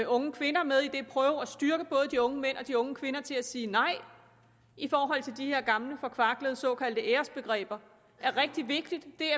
unge kvinder med og styrke både de unge mænd og de unge kvinder til at sige nej i forhold til de her gamle forkvaklede såkaldte æresbegreber er rigtig vigtigt det